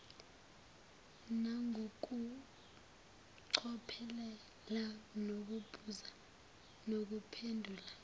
nangokucophelela nokubuza nokuphendula